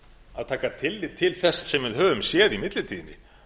að taka tillit á þess sem við höfum séð í millitíðinni